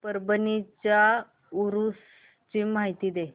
परभणी च्या उरूस ची माहिती दे